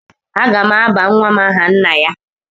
Aga m aba nwa m aha nna ya.